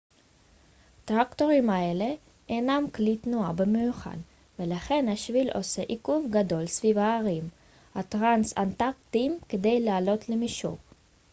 טרקטורים אלה אינם קלי תנועה במיוחד ולכן השביל עושה עיקוף גדול סביב ההרים הטרנס-אנטארקטיים כדי לעלות למישור